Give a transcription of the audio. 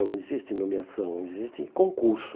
Não existe nomeação, existe concurso.